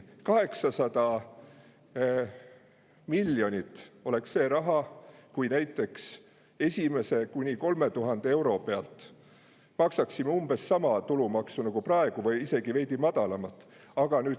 800 miljonit oleks see raha, kui näiteks esimese kuni 3000 euro pealt maksaksime umbes sama tulumaksu nagu praegu või isegi veidi madalamat.